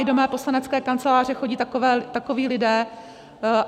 I do mé poslanecké kanceláře chodí takoví lidé.